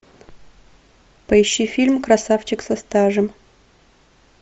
поищи фильм красавчик со стажем